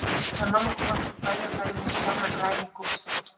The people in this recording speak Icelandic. Þegar mamma kom aftur úr bænum færði hún Stjána glæný gúmmístígvél.